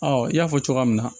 Ɔ i y'a fɔ cogoya min na